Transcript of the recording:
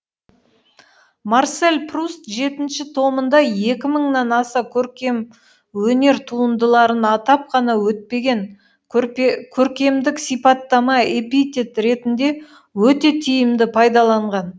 марсель пруст жетінші томында екі мыңнан аса көркемөнер туындыларын атап қана өтпеген көркемдік сипаттама эпитет ретінде өте тиімді пайдаланған